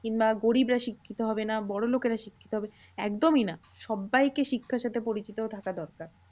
কিংবা গরিবরা শিক্ষিত হবে না বড়োলোকেরা শিক্ষিত হবে একদমই না। সব্বাইকে শিক্ষার সাথে পরিচিত থাকা দরকার।